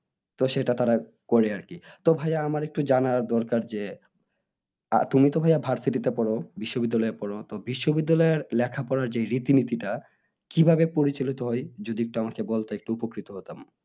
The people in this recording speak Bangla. তো সেটা তারা করে আরকি তো ভাইয়া আমার একটু জানার দরকার যে তুমি তো ভাইয়া versity তে পড়ো বিশ্ববিদ্যালয়ে পড়ো তো বিশ্ববিদ্যালয়ে লেখাপড়ার যে রীতি নিতিটা কিভাবে পরিচালিত হয় যদি আমাকে একটু বলতে উপকৃত হতাম